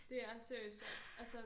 Det er seriøst altså